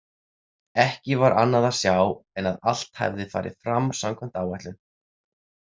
Ekki var annað að sjá en að allt hefði farið fram samkvæmt áætlun.